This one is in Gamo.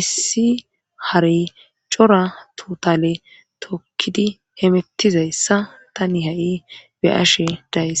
issi harey cora tutale tokkidi hemettizayssa ta ni ha7i be7ashe days